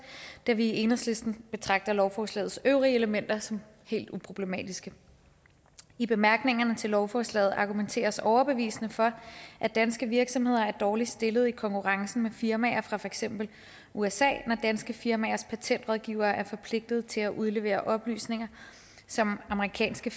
da vi i enhedslisten betragter lovforslagets øvrige elementer som helt uproblematiske i bemærkningerne til lovforslaget argumenteres overbevisende for at danske virksomheder er dårligt stillet i konkurrencen med firmaer fra for eksempel usa når danske firmaers patentrådgivere er forpligtet til at udlevere oplysninger som amerikanske